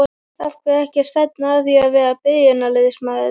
Af hverju ekki að stefna að því að vera byrjunarliðsmaður?